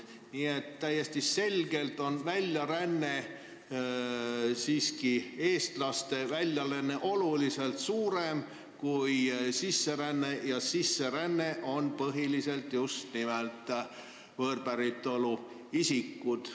Nii et täiesti selgelt on eestlaste väljaränne siiski oluliselt suurem kui sisseränne ja sisse rändavad põhiliselt just nimelt võõrpäritolu isikud.